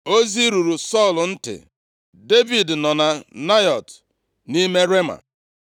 Ozi ruru Sọl ntị, “Devid nọ na Naịọt nʼime Rema,”